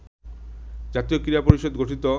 জাতীয় ক্রীড়া পরিষদ গঠিত